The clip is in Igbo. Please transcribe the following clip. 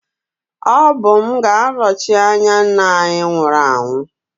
Ọ bụ m ga-anọchi anya nna anyị nwụrụ anwụ